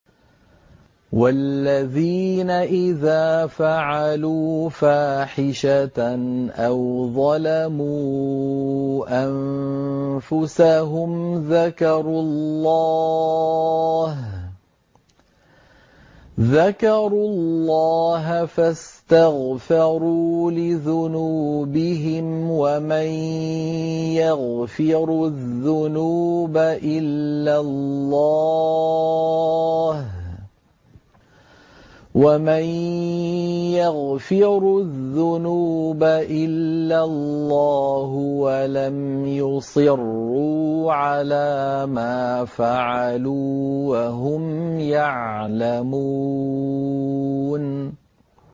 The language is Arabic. وَالَّذِينَ إِذَا فَعَلُوا فَاحِشَةً أَوْ ظَلَمُوا أَنفُسَهُمْ ذَكَرُوا اللَّهَ فَاسْتَغْفَرُوا لِذُنُوبِهِمْ وَمَن يَغْفِرُ الذُّنُوبَ إِلَّا اللَّهُ وَلَمْ يُصِرُّوا عَلَىٰ مَا فَعَلُوا وَهُمْ يَعْلَمُونَ